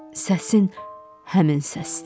Səsin həmin səsdir.